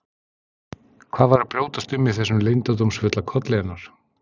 Hvað var að brjótast um í þessum leyndardómsfulla kolli hennar?